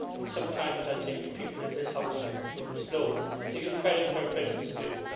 Sometimes I think people in this House are too slow to give credit where credit is due.